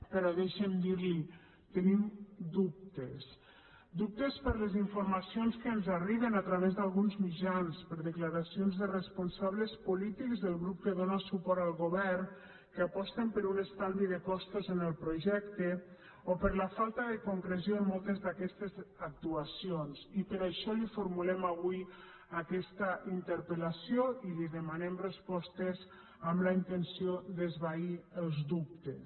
però deixi’m dir li tenim dubtes dubtes per les informacions que ens arriben a través d’alguns mitjans per declaracions de responsables polítics del grup que dóna suport al govern que aposten per un estalvi de costos en el projecte o per la falta de concreció en moltes d’aquestes actuacions i per això li formulem avui aquesta interpelintenció d’esvair els dubtes